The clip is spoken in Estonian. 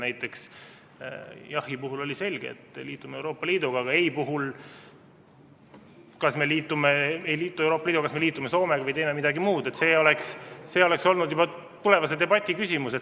Näiteks oli jahhi puhul selge, et me liitume Euroopa Liiduga, aga ei puhul oleks olnud see, kas me ei liitu Euroopa Liiduga, aga liitume Soomega või teeme midagi muud, juba tulevase debati küsimus.